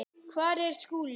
Hvar er Skúli?